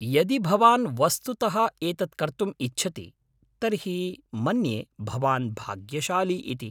यदि भवान् वस्तुतः एतत् कर्तुम् इच्छति तर्हि मन्ये भवान् भाग्यशाली इति।